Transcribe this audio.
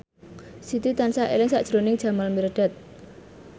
Siti tansah eling sakjroning Jamal Mirdad